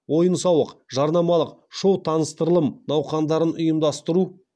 ойын сауық жарнамалық шоу таныстырылым науқандарын ұйымдастыру